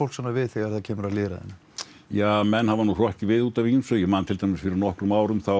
svona við þegar kemur að lýðræðinu ja menn hafa hrokkið við út af ýmsu ég man til dæmis fyrir nokkrum árum þá